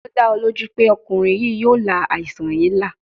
Ṣe o da ọ loju pe ọkunrin yii yoo la aisan yii la?